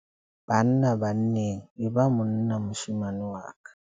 Banna-banneng, e ba monna moshemane wa ka.